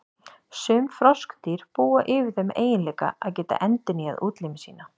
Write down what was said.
Sum froskdýr búa yfir þeim eiginleika að geta endurnýjað útlimi sína.